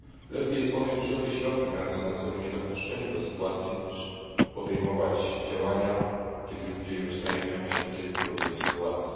Lepiej podjąć wszelkie środki mające na celu niedopuszczenie do tej sytuacji, niż podejmować działania, kiedy ludzie znajdują się już w trudnej sytuacji.